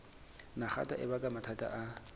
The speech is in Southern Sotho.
nagata e baka mathata a